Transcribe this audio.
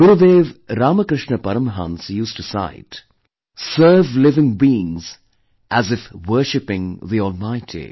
Gurudev Ramkrishna Paramhans used to cite, 'serve living beings as if worshipping the almighty